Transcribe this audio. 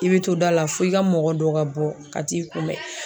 I be to da la fo i ka mɔgɔ dɔ ka bɔ ka t'i kunbɛn